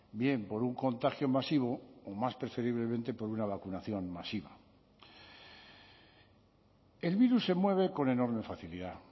bien por un contagio masivo o más preferiblemente por una vacunación masiva el virus se mueve con enorme facilidad